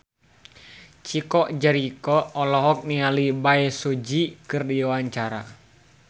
Chico Jericho olohok ningali Bae Su Ji keur diwawancara